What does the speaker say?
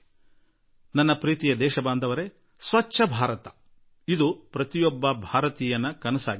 ನನ್ನೊಲವಿನ ದೇಶವಾಸಿಗಳೇ ಸ್ವಚ್ಛ ಭಾರತ ಪ್ರತಿಯೊಬ್ಬ ಭಾರತೀಯನ ಕನಸಾಗಿಬಿಟ್ಟಿದೆ